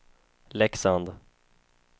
Leksand